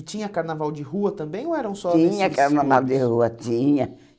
E tinha carnaval de rua também ou eram só desfiles... Tinha carnaval de rua, tinha.